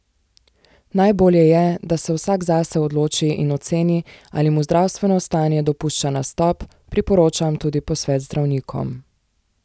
Najbolje je, da se vsak zase odloči in oceni ali mu zdravstveno stanje dopušča nastop, priporočam tudi posvet z zdravnikom.